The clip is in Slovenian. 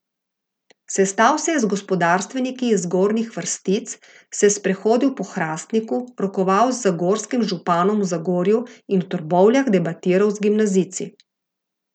Sestal se je z gospodarstveniki iz zgornjih vrstic, se sprehodil po Hrastniku, rokoval z zagorskim županom v Zagorju in v Trbovljah debatiral z gimnazijci.